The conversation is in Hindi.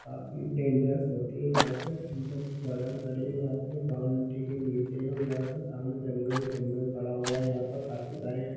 काफी डेनजर्स होती है यहाँ पे एक थमसप की बोतल पड़ी है यहाँ पे जो बाउंड्री के नीचे है और यहाँ पर सामने जंगल ही जंगल पड़ा हुआ है यहाँ पे काफी सारे--